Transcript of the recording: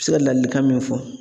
Se ka ladilikan min fɔ